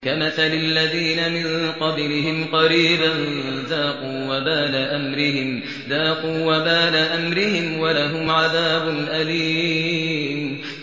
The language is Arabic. كَمَثَلِ الَّذِينَ مِن قَبْلِهِمْ قَرِيبًا ۖ ذَاقُوا وَبَالَ أَمْرِهِمْ وَلَهُمْ عَذَابٌ أَلِيمٌ